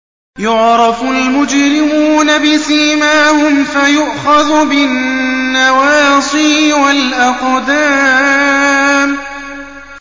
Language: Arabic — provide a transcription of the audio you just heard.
يُعْرَفُ الْمُجْرِمُونَ بِسِيمَاهُمْ فَيُؤْخَذُ بِالنَّوَاصِي وَالْأَقْدَامِ